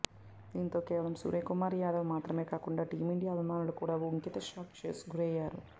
దీంతో కేవలం సూర్యకుమార్ యాదవ్ మాత్రమే కాకుండా టీమిండియా అభిమానులు కూడా ఒకింత షాక్ కు గురయ్యారు